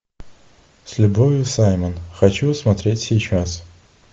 с любовью саймон хочу смотреть сейчас